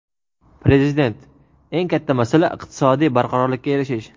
Prezident: Eng katta masala – iqtisodiy barqarorlikka erishish.